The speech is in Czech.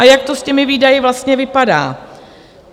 A jak to s těmi výdaji vlastně vypadá?